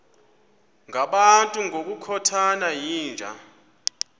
ngabantu ngokukhothana yinja